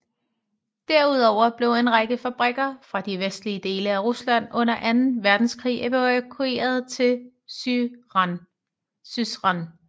Derudover blev en række fabrikker fra de vestlige dele af Rusland under anden verdenskrig evakueret til Syzran